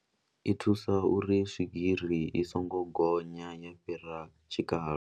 I thusa uri swigiri i songo gonya ya fhira tshikalo.